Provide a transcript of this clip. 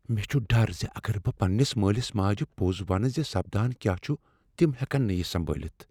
مےٚ چھ ڈر ز اگر بہٕ پننس مٲلس ماجہ پوٚز ونہٕ ز سپدان کیا چھ، تم ہیکن نہٕ یہ سنبٲلتھ۔